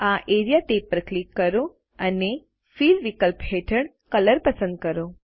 આ area tab પર click કરો અને ફિલ વિકલ્પ હેઠળ કલર પસંદ કરો